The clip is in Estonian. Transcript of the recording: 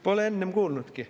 Pole enne kuulnudki.